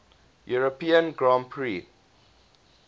european grand prix